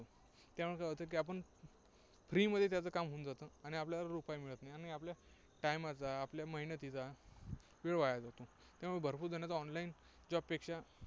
त्यामुळे काय होतं की आपण free मध्ये त्यांचे काम होऊन जातं. आणि आपल्याला रुपाया मिळत नाही. आणि आपल्या time चा, आपल्या मेहनतीचा वेळ वाया जातो. त्यामुळे भरपूर जण online job पेक्षा